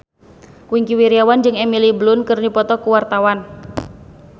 Wingky Wiryawan jeung Emily Blunt keur dipoto ku wartawan